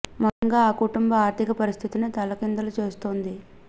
మొత్తంగా ఆ కుటుం బ ఆర్థిక పరిస్థితినే తల్లకిం దులు చేస్తోంది